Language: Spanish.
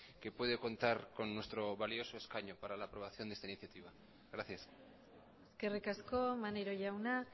que puede contar con nuestro valioso escaño para la aprobación de esta iniciativa gracias eskerrik asko maneiro jauna